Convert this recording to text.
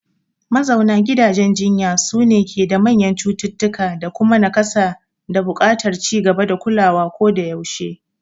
Mazauna gidajen jinya sune ke da manyan cututtuka, da kuma nakasa da buƙatar ci gaba da kulawa koda yaushe.